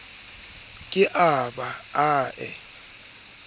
ke a ba a e